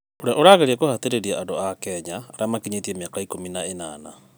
ũrĩa ũrageria kũhatĩrĩria andũ a Kenya arĩa makinyĩtie mĩaka ikũmi na ĩnana.